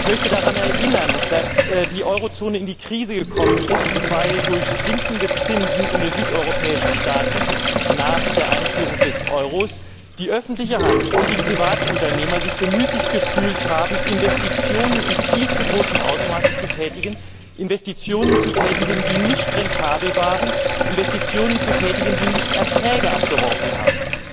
Ich möchte daran erinnern, dass die Eurozone in die Krise gekommen ist, weil durch sinkende Zinsen in den südeuropäischen Staaten nach der Einführung des Euros die öffentliche Hand und die Privatunternehmer sich bemüßigt gefühlt haben, Investitionen in viel zu großem Ausmaße zu tätigen, Investitionen zu tätigen, die nicht rentabel waren, Investitionen zu tätigen, die keine Erträge abgeworfen haben.